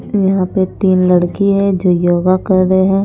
यहाँ पे तीन लड़की है जो योगा कर रहे हैं।